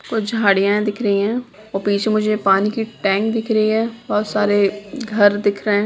कुछ झाड़ियाँ दिख रही है और पीछे मुझे पानी की टैंक दिख रही है बहुत सारे घर दिख रहे हैं।